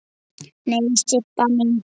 Nei, Sibba mín.